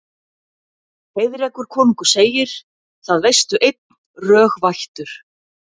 Heiðrekur konungur segir: Það veistu einn, rög vættur